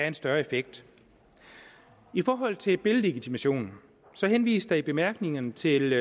en større effekt i forhold til billedlegitimation henvises der i bemærkningerne til det